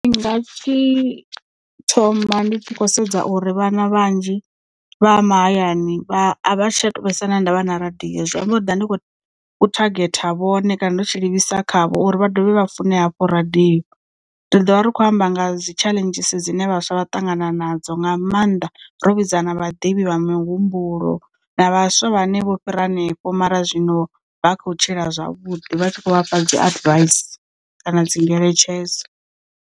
Ndi nga tshi thoma ndi tshi khou sedza uri vhana vhanzhi vha mahayani avha vha tsha tou vhesa na ndavha na radio zwi amba ndiḓa ndi kho thagetha vhone kana ndo tshi livhisa khavho uri vha dovhe vha fune hafhu radio, ndi ḓo vha ri khou amba nga dzi challenges dzine vhaswa vha ṱangana nadzo nga maanḓa ro vhidza na vhaḓivhi vhamuhumbulo na vhaswa vhane vho fhira hanefho mara zwino vha khou tshila zwavhuḓi vha tshi kho vhafha dzi advice kana dzi ngeletshedzo.